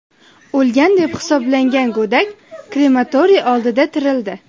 O‘lgan deb hisoblangan go‘dak krematoriy oldida tirildi.